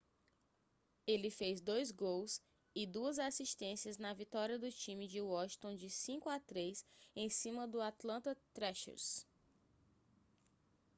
ele fez 2 gols e 2 assistências na vitória do time de washington de 5 a 3 em cima do atlanta thrashers